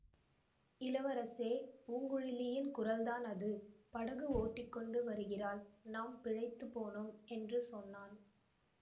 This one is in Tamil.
இளவரசே பூங்குழலியின் குரல்தான் அது படகு ஓட்டிக்கொண்டு வருகிறாள் நாம் பிழைத்துப் போனோம் என்று சொன்னான்